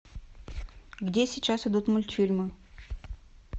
где сейчас идут мультфильмы